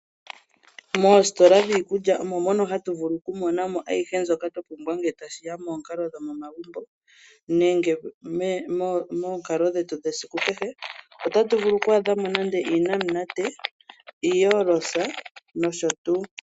Mositola dhiikulya ohatu vulu oku monamo ayihe mbyoka twa pumbwa ngele tashiya koompumbwe dhomomagumbo nenge moonkali dhetu dhesiku kehe. Ohatu vulu oku adhamo ngaashi onamunate noshowo oorosa.